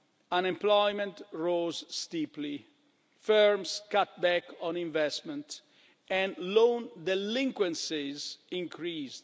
Unemployment rose steeply, firms cut back on investment and loan delinquencies increased.